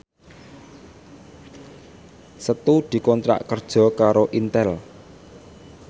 Setu dikontrak kerja karo Intel